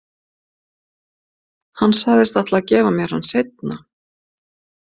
Hann sagðist ætla að gefa mér hann seinna.